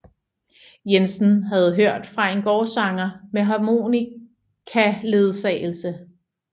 Jensen havde hørt fra en gårdsanger med harmonikaledsagelse